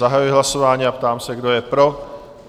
Zahajuji hlasování a ptám se, kdo je pro?